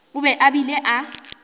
o be a bile a